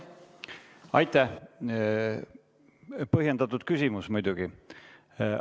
Aitäh, põhjendatud muidugi!